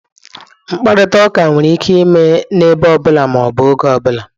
Mkparịta ụka nwere ike ime n'ebe ọ bụla ma ọ bụ oge ọ bụla.